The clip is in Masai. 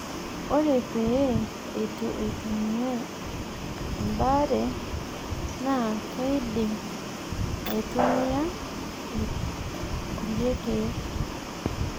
ore peyie eitu eitumiayae ebaare, naa keidimi aitumia kulie keek